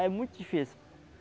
É muito difícil.